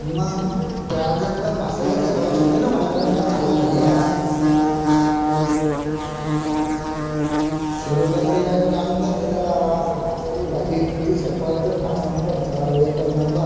सूर्यो डोंगरी बाई कून आणून देलत त्याला रस माशायालाची भाजी तुमची साप तुम कसान तर विचर आहे एकच नंबर.